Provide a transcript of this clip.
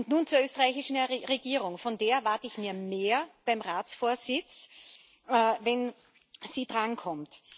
Nun zur österreichischen Regierung Von der erwarte ich mir mehr beim Ratsvorsitz, wenn sie drankommt.